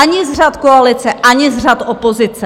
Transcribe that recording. Ani z řad koalice, ani z řad opozice.